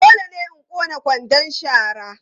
Dole ne in ƙone kwandon shara.